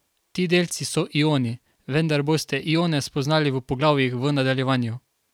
Ti delci so ioni, vendar boste ione spoznali v poglavjih v nadaljevanju.